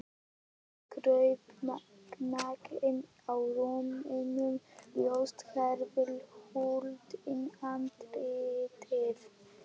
Hún kraup nakin á rúminu, ljóst hárið huldi andlitið.